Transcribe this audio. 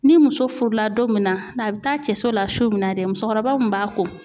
Ni muso furula don min na a bi taa cɛso la su min na dɛ musokɔrɔba mun b'a ko.